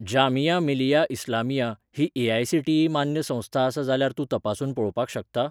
जामिया मिलिया इस्लामिया ही ए.आय.सी.टी.ई मान्य संस्था आसा जाल्यार तूं तपासून पळोवपाक शकता?